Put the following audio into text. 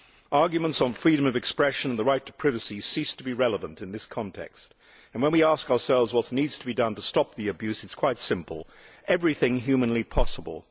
Arguments on freedom of expression and the right to privacy cease to be relevant in this context, and when we ask ourselves what needs to be done to stop the abuse it is quite simple everything humanly possible.